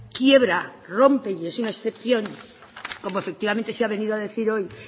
quiebra rompe y es una excepción como efectivamente se ha venido a decir hoy